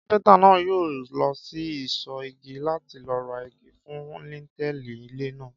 Kápẹ́ntà náà yóò lọ sí ìsọ̀ igi láti lọ ra igi fún líńtẹ́ẹ̀lì ilé náà